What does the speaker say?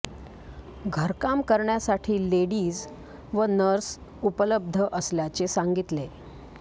घरकाम करण्यासाठी लेडीज व नर्स उपलब्ध असल्याचे सांगितले